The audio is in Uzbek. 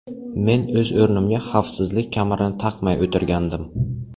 Men o‘z o‘rnimda xavfsizlik kamarini taqmay o‘tirgandim.